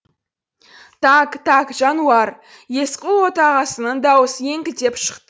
так так жануар есқұл отағасының даусы еңкілдеп